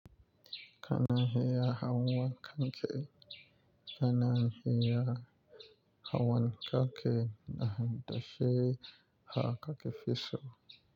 Kana hiya hawan kanke, kana hiya hawan kanke na dashi ha kakefiso.